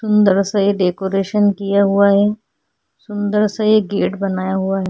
सुंदर सा ये डेकोरेशन किया हुआ है सुंदर सा ये गेट बनाया हुआ है।